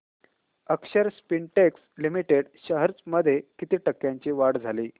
अक्षर Spintex Limited shares मध्ये किती टक्क्यांची वाढ झाली